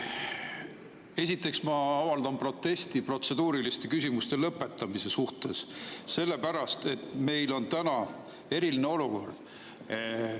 Esiteks avaldan protesti protseduuriliste küsimuste lõpetamise suhtes, sellepärast et meil on täna eriline olukord.